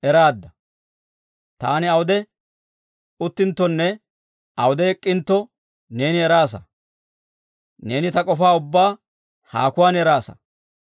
Taani awude uttinttonne awude ek'k'intto, neeni eraasa; neeni ta k'ofaa ubbaa haakuwaan eraasa.